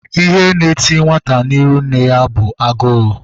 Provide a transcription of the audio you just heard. Ihe na eti nwata n'iru nne ya bụ agụụ